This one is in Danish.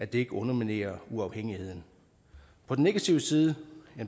det ikke underminerer uafhængigheden på den negative side